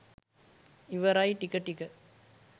ඉවරයි ටික ටික